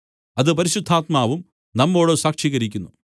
അത് പരിശുദ്ധാത്മാവും നമ്മോട് സാക്ഷീകരിക്കുന്നു